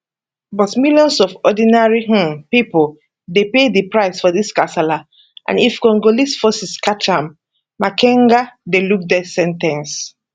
but millions of ordinary um pipo dey pay di price for dis kasala and if congolese forces catch am makenga dey look death sen ten ce